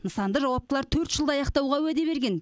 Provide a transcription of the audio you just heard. нысанды жауаптылар төрт жылда аяқтауға уәде берген